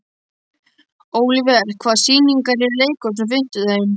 Olivert, hvaða sýningar eru í leikhúsinu á fimmtudaginn?